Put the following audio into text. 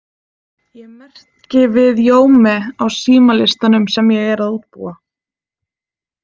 Ég merki við Jaume á símalistanum sem ég er að útbúa.